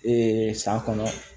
san kɔnɔ